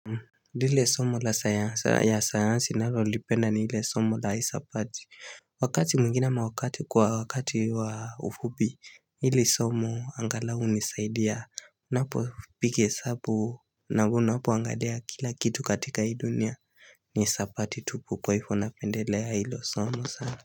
Lile somo la sayansa ya sayansi nalolipenda ni ile somo la isapati hhh Wakati mwingine ama wakati kwa wakati wa ufupi ili somo angalau unisaidia hh n napo piga esabu naunapo angalia kila kitu katika hii dunia ni isapati tupu kwa hivo napendelea ilo somo sana.